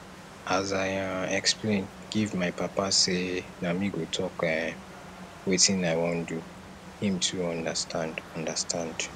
as i um explain give my papa sey na me go talk um wetin i wan do him too understand understand